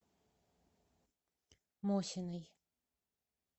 мосиной